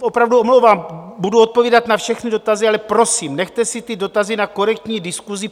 opravdu omlouvám, budu odpovídat na všechny dotazy, ale prosím, nechte si ty dotazy na korektní diskusi.